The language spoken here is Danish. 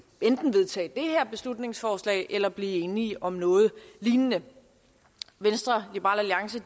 vedtage det her beslutningsforslag eller blive enige om noget lignende venstre liberal alliance